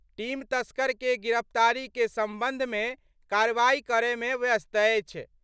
Team तस्कर के गिरफ्तारी के संबंध मे कार्रवाई करय मे व्यस्त अछि।